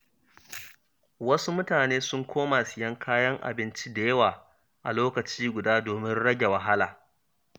Wasu mutane sun koma siyan kayan abinci da yawa a lokaci guda domin rage wahala.